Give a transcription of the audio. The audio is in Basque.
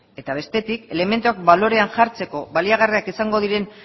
eta bestetik elementuak balorean jartzeko baliagarriak izango diren